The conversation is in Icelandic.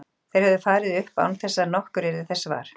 Þeir höfðu farið upp án þess að nokkur yrði þess var.